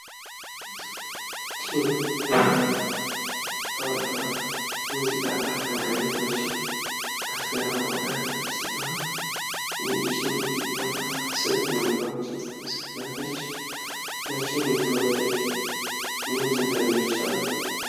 ይች የምትታየው ታዋቂዋ የሙዚቃ አቀንቃኝ የሆነችው አስቴር አወቀ ስትሆን ይህች የሙዚቃ አቀንቃኝ ስንት ሙዚቃዎችን ዘፍናለች? በስንት ዓመተ ምህረት ነው የተወለደችው? እንዲሁም ስንት ልጆች አሏት?